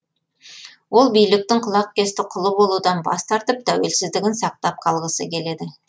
ол биліктің құлақкесті құлы болудан бас тартып тәуелсіздігін сақтап қалғысы келеді